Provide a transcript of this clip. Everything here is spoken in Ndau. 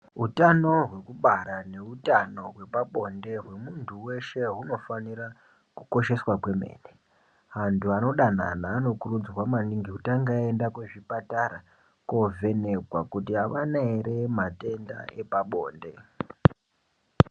Utano hwekubara ,neutano hwepabonde hwemuntu weshe hunofanire kukosheswa kwemene. Antu anodanana anokurudzirwa maningi kutanga aenda kuzvipatara, koovhenekwa, kuti avana ere matenda epabonde.